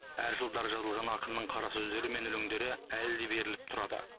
әр жылдары жазылған ақынның қарасөздері мен өлеңдері әлі де беріліп тұрады